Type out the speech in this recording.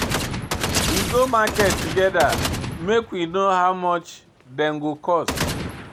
We go market togeda make we know how much dem go cost.